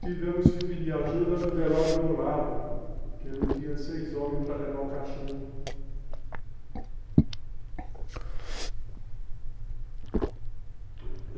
Tivemos que pedir ajuda no velório do lado, que eu não tinha seis homens para levar o caixão.